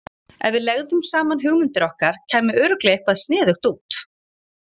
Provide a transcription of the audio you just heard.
Ef við legðum saman hugmyndir okkar, kæmi örugglega eitthvað sniðugt út.